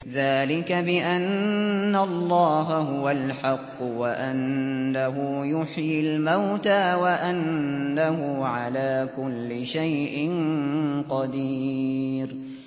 ذَٰلِكَ بِأَنَّ اللَّهَ هُوَ الْحَقُّ وَأَنَّهُ يُحْيِي الْمَوْتَىٰ وَأَنَّهُ عَلَىٰ كُلِّ شَيْءٍ قَدِيرٌ